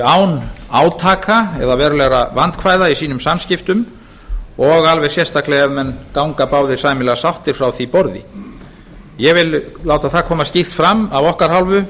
án átaka eða verulegra vandkvæða í sínum samskiptum og alveg sérstaklega ef menn ganga báðir sæmilega sáttir frá því borði ég vil láta það koma skýrt fram af okkar hálfu